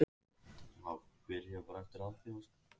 þar á meðal eru sjóntruflanir